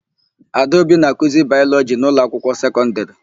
Adaobi na-akụzi Baịlọjị n'ụlọakwụkwọ sekọndịrị.